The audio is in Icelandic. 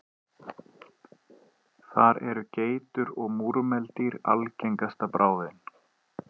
Þar eru geitur og múrmeldýr algengasta bráðin.